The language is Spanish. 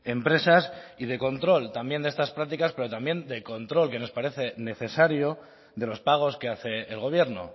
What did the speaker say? empresas y de control también de estas prácticas pero también de control que nos parece necesario de los pagos que hace el gobierno